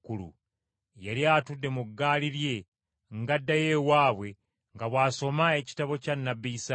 Yali atudde mu ggaali lye ng’addayo ewaabwe nga bw’asoma ekitabo kya nnabbi Isaaya.